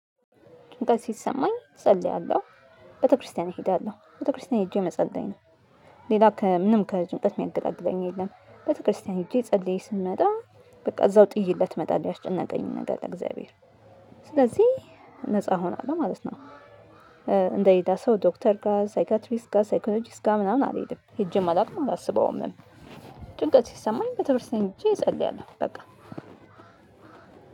ጭንቀት ሲሰማኝ እጸልያለሁ ቤተክርስቲያን እሄዳለሁ ቤተክርስቲያን ሄጄ መጸለይ ነው። ሌላ ከምንም ከጭንቀት የሚያገላግለኝ የለም። ቤተክርስቲያን ሄጄ ጸልዬ ስመጣ በቃ እዛው ጥየለት መጣል ያስጨነቀኝ ነገር ለእግዚአብሔር ስለዚህ ነፃ እሆናለሁ ማለት ነው። እንደ ሌላ ሰው ዶክተር ጋር ሳይካትሪስ ጋር ሳይኮሎጂስ ጋር ምናምን አልሄድም ሄጄ አላቅም አላሰበውም። ጭንቀት ሲሰማኝ ቤተክርስቲያን ሄጄ እጨርሰኛለሁ በቃ።